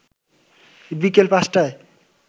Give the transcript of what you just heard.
বিকেল ৫টায়